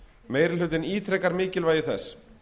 meiri hlutinn ítrekar mikilvægi þess